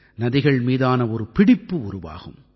நதிகள் மீதான ஒரு பிடிப்பு உருவாகும்